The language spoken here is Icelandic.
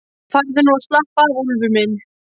Farðu nú að slappa af, Úlfur minn.